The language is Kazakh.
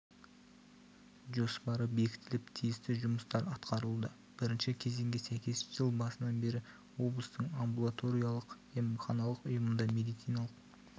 жоспары бекітіліп тиісті жұмыстар атқарылуда бірінші кезеңге сәйкес жыл басынан бері облыстың амбулаториялық-емханалық ұйымында медициналық